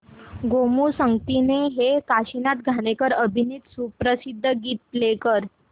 गोमू संगतीने हे काशीनाथ घाणेकर अभिनीत सुप्रसिद्ध गीत प्ले कर